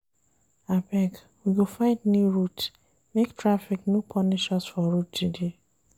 Abeg we go find new route make taffic no punish us for road today.